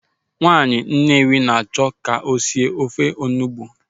Nwaanyị Nnewi a na-achọ ka o sie ofe olugbu.